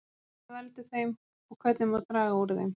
Hvað veldur þeim og hvernig má draga úr þeim?